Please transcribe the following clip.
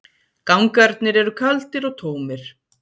Gangarnir eru kaldir og tómir.